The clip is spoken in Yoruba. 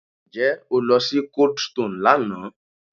Ǹjẹ́ o lọ sí coldstone lánàá?